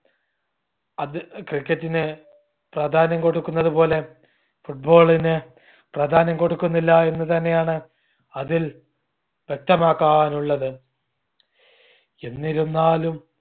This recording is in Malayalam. അത് cricket ന് പ്രാധാന്യം കൊടുക്കുന്നത് പോലെ football ന് പ്രാധാന്യം കൊടുക്കുന്നില്ല എന്ന് തന്നെയാണ് അതിൽ വ്യക്തമാക്കാനുള്ളത്. എന്നിരുന്നാലും